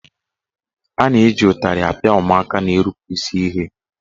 A na-eji ụtarị apịa ụmụaka na-erupu isi ihe.